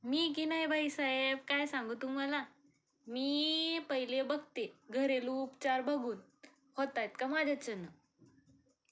मी कि नाही बाईसाहेब काय सांगू तुम्हाला, मी पहिले बघतेघरेलू उपचार बघून, होतायत का माझ्याच्यान